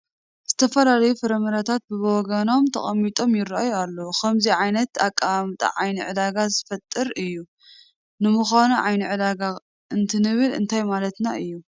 ዝተፈላለዩ ፍራምረታት በብወገኖም ተቐሚጦም ይርአዩ ኣለዉ፡፡ ከምዚ ዓይነት ኣቀማምጣ ዓይኒ ዕዳጋ ዝፈጥር እዩ፡፡ ንምዃኑ ዓይኒ ዕዳጋ እንትንብል እንታይ ማለትና እዩ?